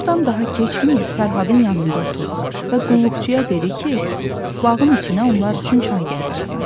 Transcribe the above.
Burdan daha keçməyib Fərhadın yanında oturdu və qulluqçuya dedi ki, bağın içinə onlar üçün çay gətirsin.